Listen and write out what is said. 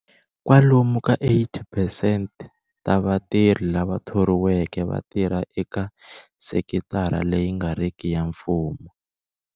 Kwalomu ka 80 percent ta vatirhi lava thoriweke va tirha eka sekitara leyi nga riki ya mfumo.